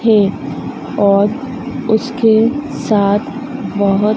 है और उसके साथ बोहोत--